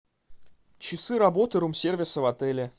часы работы рум сервиса в отеле